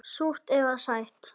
Súrt eða sætt.